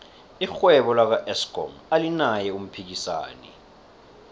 irhwebo laka eskom alinaye umphikisani